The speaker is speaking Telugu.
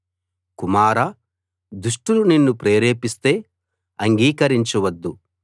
కుమారా దుష్టులు నిన్ను ప్రేరేపిస్తే అంగీకరించవద్దు